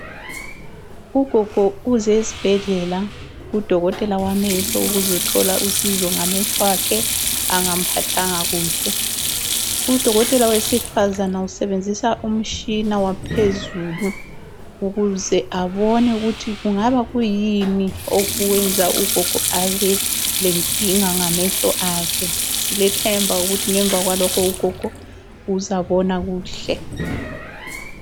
Ugogo uze esibhedlela kudokotela wamehlo, ukuzethola usizo ngamehlo akhe angamphathanga kuhle. Udokotela wesifazane usebenzisa umtshina waphezulu ukuze abone ukuthi kungaba kuyini okwenza ugogo abelenkinga ngamehlo akhe. Silethemba ukuthi ngemva kwalokhu ugogo uzabona kuhle.